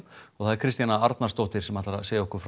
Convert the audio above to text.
Kristjana Arnarsdóttir ætlar að segja okkur frá